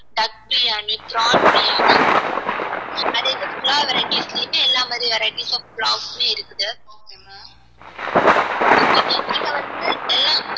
duck biryani prawn biryani pulav varieties லயுமே எல்லா மாதிரி varieties of pulav வுமே இருக்குது okay இங்க வந்து எல்லாம்